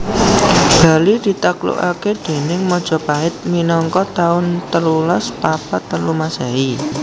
Bali ditaklukake déning Majapahit minangka taun telulas papat telu Masehi